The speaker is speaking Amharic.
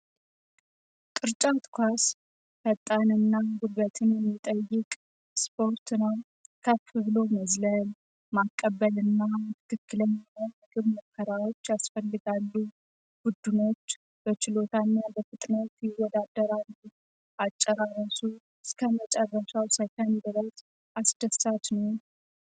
ቅርጫት ኳስ ፈጣን እና ጉልበትን የሚጠይቅ ስፖርት ነም ከፍብሎ መዝለም ማቀበል እና ትክክለ እግብ መከራዎች አስፈልጋሉ ጉድኖች በችሎታኛ በፍጥኖት ይወዳደራል። አጨራረሱ እስከ መጨረሻው ሳይካን ድረት አስደሳች ነው።